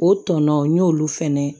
O tɔnɔn n y'olu fɛnɛ